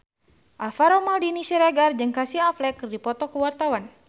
Alvaro Maldini Siregar jeung Casey Affleck keur dipoto ku wartawan